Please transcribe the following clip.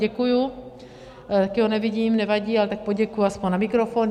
Děkuji, taky ho nevidím, nevadí, ale tak poděkuji aspoň na mikrofon.